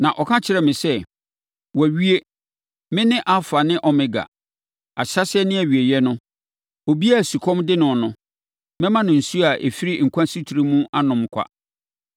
Na ɔka kyerɛɛ me sɛ, “Wɔawie! Me ne Alfa ne Omega, Ahyɛaseɛ ne Awieeɛ no. Obiara a sukɔm de no no, mɛma no nsuo a ɛfiri nkwa asutire mu anom kwa.